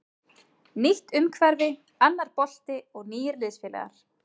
Nýtt umhverfi, annar bolti og nýir liðsfélagar.